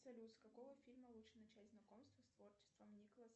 салют с какого фильма лучше начать знакомство с творчеством николаса